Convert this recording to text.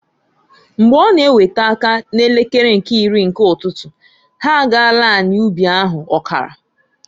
Mgbe ọ na ewete aka n'elekere nke iri nke ụtụtụ, ha agaala anị ubi ahụ ọkara.